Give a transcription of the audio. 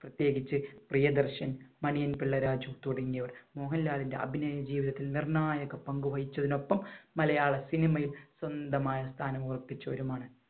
പ്രത്യേകിച്ച് പ്രിയദർശൻ, മണിയൻപിള്ള രാജു തുടങ്ങിയവർ മോഹൻലാലിന്‍റെ അഭിനയ ജീവിതത്തിൽ നിർണായക പങ്കുവഹിച്ചതിനോടൊപ്പം മലയാള സിനിമയിൽ സ്വന്തമായ സ്ഥാനം ഉറപ്പിച്ചവരുമാണ്.